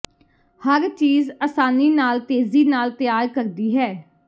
ਹਰ ਚੀਜ਼ ਆਸਾਨੀ ਨਾਲ ਤੇਜ਼ੀ ਨਾਲ ਤਿਆਰ ਕਰਦੀ ਹੈ